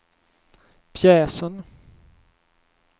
pjäsen